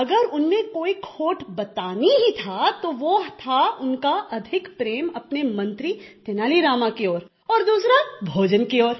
अगर उनमें कोई खोट बताना ही था तो वह था अधिक प्रेम अपने मंत्री तेनाली रामा की ओर और दूसरा भोजन की ओर